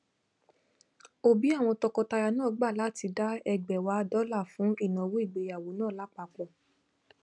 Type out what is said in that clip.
òbí àwọn tọkọtaya náà gbà láti dá ẹgbàáwàá dollar fún ìnáwó ìgbéyàwó náà lápapọ